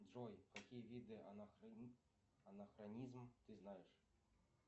джой какие виды анахронизм ты знаешь